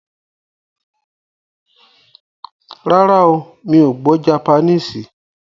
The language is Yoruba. Rárá o, Mi ò gbọ́ japaníìsì.